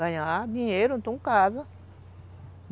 Ganhar dinheiro, então casa.